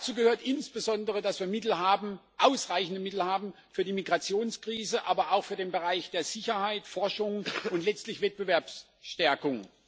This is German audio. Dazu gehört insbesondere, dass wir ausreichende Mittel haben für die Migrationskrise, aber auch für den Bereich der Sicherheit, der Forschung, und letztlich der Wettbewerbsstärkung.